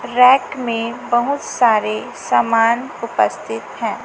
Rack में बहुत सारे सामान उपस्थित है।